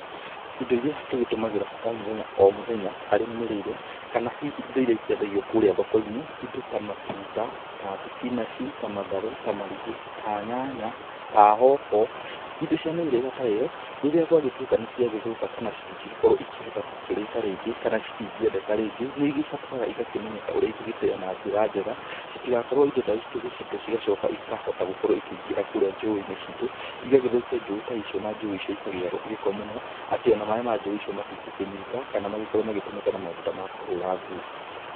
Indo iria tũgĩtũmagĩra o mũthenya o mũthenya harĩ mĩrĩre, kana hihi indo iria ikĩendagio kũrĩa thoko-inĩ indo ta matunda, ta thibinaci, ta matharũ, ta marigũ, ta nyanya, ta hoho, indo cia mĩhĩrĩga ta ĩyo, rĩrĩa gwagĩtuĩka nĩ ciagĩthũka kana citingĩgĩkorwo ikĩhota gũkĩrĩka rĩngĩ kana citingĩendeka rĩngĩ, nĩ igĩbataraga igakĩmenyeka ũrĩa igũgĩteo na njĩra njega, citigakorwo indo ta ici tũgĩcite cigacoka ikahota gũkorwo ikĩingĩra kũrĩa njũĩ-inĩ citũ, igagĩthũkia njũi ta icio na njũĩ icio ikagĩa gĩko mũno, atĩ ona maĩ ma njũĩ icio matingĩkĩnyuĩka kana makorwo magĩtũmĩka na maũndũ ta ma kũhũra nguo.